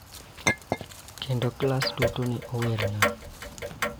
Kendo klas duto ne owerna.